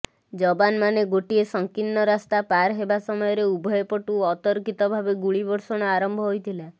ଯବାନମାନେ ଗୋଟିଏ ସଂକୀର୍ଣ୍ଣ ରାସ୍ତା ପାର ହେବା ସମୟରେ ଉଭୟପଟୁ ଅତର୍କିତ ଭାବେ ଗୁଳିବର୍ଷଣ ଆରମ୍ଭ ହୋଇଥିଲା